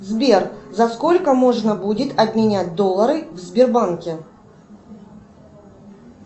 сбер за сколько можно будет обменять доллары в сбербанке